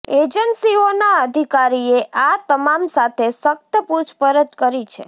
એજન્સીઓનાં અધિકારીએ આ તમામ સાથે સખ્ત પુછપરછ કરી છે